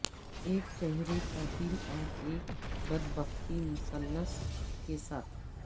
ایک چہرے کا دل اور ایک بدبختی مثلث کے ساتھ